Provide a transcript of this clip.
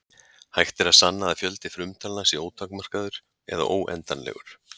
Hægt er að sanna að fjöldi frumtalna sé ótakmarkaður eða óendanlegur.